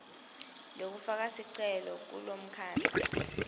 lekufaka sicelo kumkhandlu